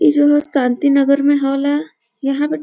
ई जगह शान्ती नगर में होला यहॉ पे --